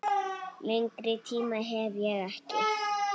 Lengri tíma hef ég ekki.